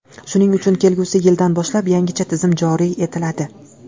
Shuning uchun kelgusi yildan boshlab yangicha tizim joriy etiladi.